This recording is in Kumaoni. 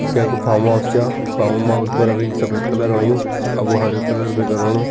ई कैकु फार्म हाउस छा फार्म हाउस पर अभी सफ़ेद कलर होयुं अब वो हरे कलर भी कराणु।